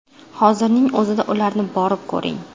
Hozirning o‘zida ularni borib ko‘ring.